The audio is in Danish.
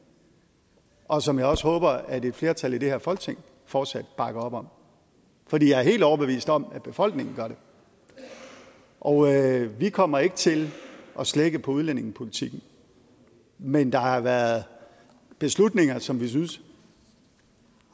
og som jeg også håber at et flertal i det her folketing fortsat bakker op om for jeg er helt overbevist om at befolkningen gør det og vi kommer ikke til at slække på udlændingepolitikken men der har været beslutninger som vi synes